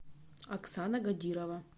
оксана гадирова